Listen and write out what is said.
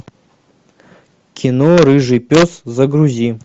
кино рыжий пес загрузи